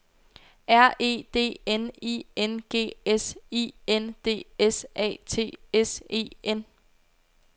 R E D N I N G S I N D S A T S E N